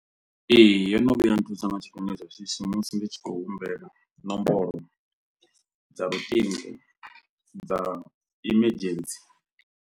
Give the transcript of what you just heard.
Ee, yo no vhuya nthusa nga tshifhinga tsha shishi musi ndi tshi khou humbela ṋomboro dza luṱingo dza emergency.